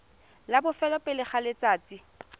la bofelo pele ga letsatsi